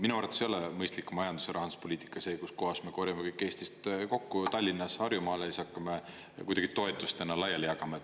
Minu arvates ei ole mõistlik majandus- ja rahanduspoliitika see, kus kohas me korjame kõik Eestist kokku Tallinnas, Harjumaal ja siis hakkame kuidagi toetustena laiali jagama.